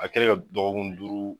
A kɛlen ka dɔgɔkun duuru